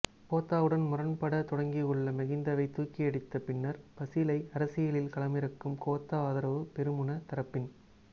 கோத்தாவுடன் முரண்பட தொடங்கியுள்ள மகிந்தவை தூக்கியடித்த பின்னர் பஸிலை அரசியலில் களமிறக்கும் கோத்தா ஆதரவு பெரமுன தரப்பின்